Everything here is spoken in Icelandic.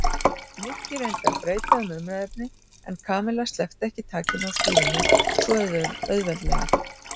Nikki reyndi að breyta um umræðuefni en Kamilla sleppti ekki takinu á stýrinu svo auðveldlega.